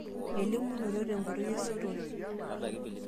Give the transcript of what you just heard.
Eelimunoto te nkoitoi esotore.